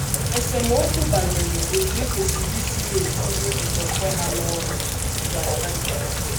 Esemokwu banyere otú e kwesịrị isi na - etinye nkwenkwe ha n’ọrụ dugara ná nkewa.